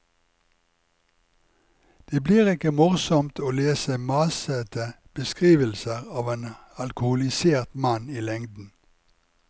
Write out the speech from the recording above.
Det blir ikke morsomt å lese masete beskrivelser av en alkoholisert mann i lengden.